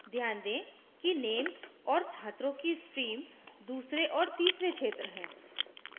ध्यान दें कि names और छात्रों की stream दूसरे और तीसरे क्षेत्र हैं